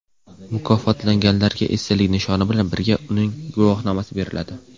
Mukofotlanganlarga esdalik nishoni bilan birga uning guvohnomasi beriladi.